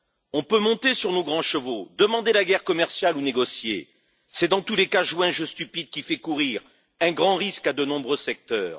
On peut monter sur nos grands chevaux, demander la guerre commerciale ou négocier, c'est dans tous les cas jouer un jeu stupide qui fait courir un grand risque à de nombreux secteurs.